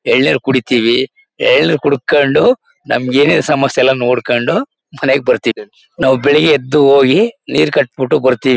ಎಳ್ನೀರು ಕುಡಿತೀವಿ. ಎಳ್ನೀರು ಕುಡ್ಕಂಡು ನಮಗೆ ಏನೇ ಎಲ್ಲ ಸಮಸ್ಯೆಯಲ್ಲಾ ನೋಡ್ಕಂಡು ಮನೆಗ್ ಬರ್ತೀವಿ. ನಾವು ಬೆಳಿಗ್ಗೆ ಎದ್ದು ಹೋಗಿ ನೀರು ಕಟ್ಟಿಬಿಟ್ಟು ಬರ್ತೀವಿ.